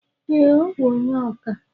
Ee, ọ bụ onye oka